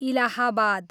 Allahabad